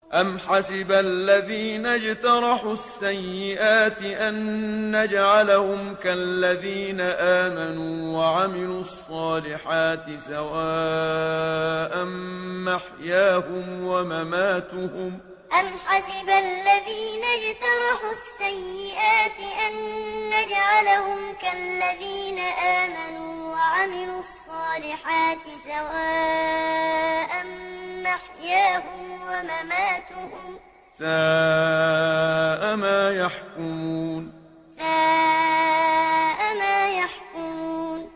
أَمْ حَسِبَ الَّذِينَ اجْتَرَحُوا السَّيِّئَاتِ أَن نَّجْعَلَهُمْ كَالَّذِينَ آمَنُوا وَعَمِلُوا الصَّالِحَاتِ سَوَاءً مَّحْيَاهُمْ وَمَمَاتُهُمْ ۚ سَاءَ مَا يَحْكُمُونَ أَمْ حَسِبَ الَّذِينَ اجْتَرَحُوا السَّيِّئَاتِ أَن نَّجْعَلَهُمْ كَالَّذِينَ آمَنُوا وَعَمِلُوا الصَّالِحَاتِ سَوَاءً مَّحْيَاهُمْ وَمَمَاتُهُمْ ۚ سَاءَ مَا يَحْكُمُونَ